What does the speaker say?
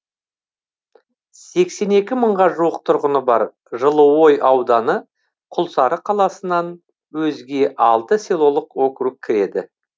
сексен екі мыңға жуық тұрғыны бар жылыой ауданына құлсары қаласынан өзге алты селолық округ кіреді